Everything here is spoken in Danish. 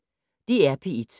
DR P1